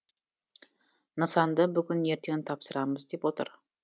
нысанды бүгін ертең тапсырамыз деп отыр